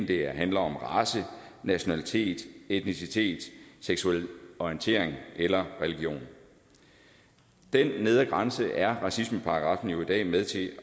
det handler om race nationalitet etnicitet seksuel orientering eller religion den nedre grænse er racismeparagraffen jo i dag med til